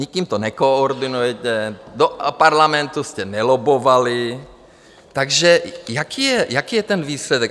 Nikým to nekoordinujete, do Parlamentu jste nelobbovali, takže jaký je ten výsledek?